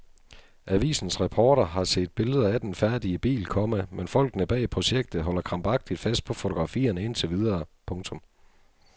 Avisens reporter har set billeder af den færdige bil, komma men folkene bag projektet holder krampagtigt fast på fotografierne indtil videre. punktum